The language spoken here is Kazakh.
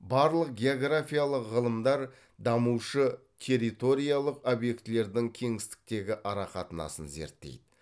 барлық географиялық ғылымдар дамушы территориялық объектілердің кеңістіктегі арақатынасын зерттейді